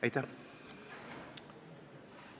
Aitäh!